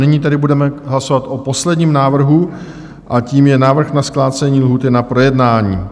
Nyní tedy budeme hlasovat o posledním návrhu, a tím je návrh na zkrácení lhůty na projednání.